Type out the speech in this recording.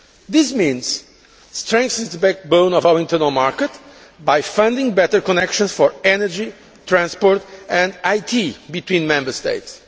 This means strengthening the backbone of our internal market by funding better connections for energy, transport and IT between Member States.